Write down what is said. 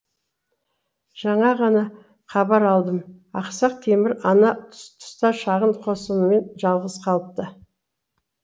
жаңа ғана хабар алдым ақсақ темір ана тұста шағын қосынымен жалғыз қалыпты